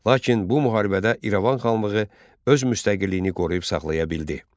Lakin bu müharibədə İrəvan xanlığı öz müstəqilliyini qoruyub saxlaya bildi.